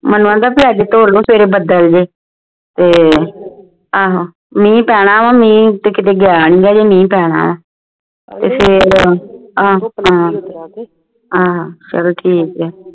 ਮਨੁ ਆਂਦਾ ਵੀ ਅੱਜ ਧੋ ਲੋ ਤੇ ਸਵੇਰੇ ਬੱਦਲ ਜੇ ਤੇ ਆਹੋ ਮੀਂਹ ਪੈਣਾ ਵ ਤੇ ਮੀਂਹ ਤੇ ਕਿਤੇ ਗਿਆ ਨੀ ਤੇ ਮੀਂਹ ਪੈਣਾ ਵਾ ਤੇ ਫੇਰ ਹਾਂ ਚਲੋ ਠੀਕ ਆ